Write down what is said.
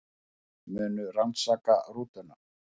Munu rannsaka rútuna